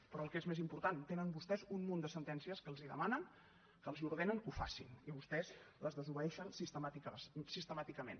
però el que és més important tenen vostès un munt de sentències que els demanen que els ordenen que ho facin i vostès les desobeeixen sistemàticament